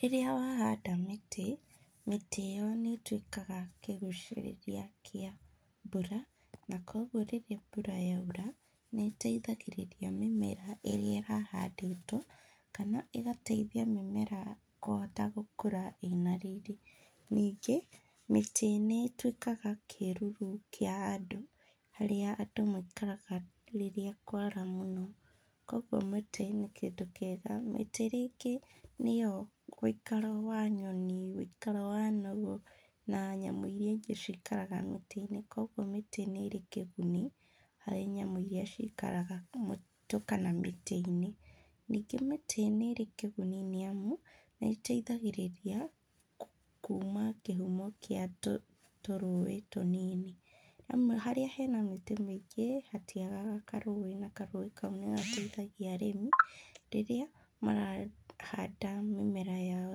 Rĩrĩa wahanda mĩtĩ, mĩtĩ ĩyo nĩĩtuĩkaga kĩgucĩrĩria kĩa mbura, na kuogu rĩrĩa mbura yaura, nĩĩteithagĩrĩria mĩmera ĩrĩa ĩrahandĩtwo kana ĩgateithia mĩmera kũhota gũkũra ĩna riri. Ningĩ, mĩtĩ nĩĩtuĩkaga kĩruru kĩa andũ, harĩa andũ maikaraga rĩrĩa kwara mũno, kuoguo mĩtĩ nĩ kĩndũ kĩega. Mĩtĩ rĩngĩ nĩyo wĩikaro wa nyoni, wĩikaro wa nũgũ na nyamũ iria ingĩ cikaraga mĩtĩ-inĩ, kuoguo mĩtĩ nĩĩrĩ kĩguni harĩ nyamũ iria ciaraga mũtitũ kana mĩtĩ-inĩ. Ningĩ mĩtĩ nĩĩrĩ kĩguni nĩamu nĩĩteithagĩrĩria kuma kĩhumo kĩa tũrũĩ tũnini. Harĩa hena mĩtĩ mĩingĩ hatiaga karũĩ na karũĩ kauu nĩgateithagĩrĩria arĩmi rĩrĩa marahanda mĩmera yao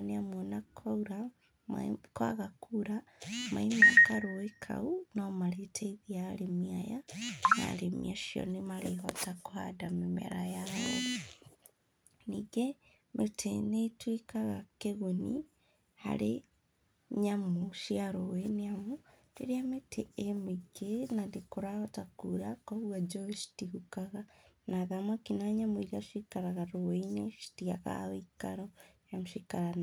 nĩamu ona kwaura, kwaga kura maĩ ma karũĩ kau nomarĩteithia arĩmi aya na arĩmi acio nĩmarĩhota kũhanda mĩmera yao. Ningĩ mĩtĩ nĩĩtuĩkaga kĩguni harĩ nyamũ cia rũĩ nĩamu, rĩrĩa mĩtĩ ĩ mĩingĩ na nĩkũrahota kura koguo njũĩ citihukaga, ona thamaki na nyamũ iria cikaraga rũĩ-inĩ citiagaga wĩikaro nĩamu ciikaraga.